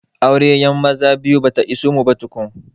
Aurayyan maza biyu bata iso mu ba tukun